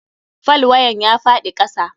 Falwayen ya faɗi kasa.